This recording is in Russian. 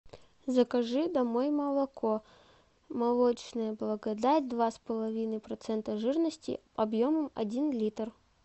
закажи домой молоко молочная благодать два с половиной процента жирности объемом один литр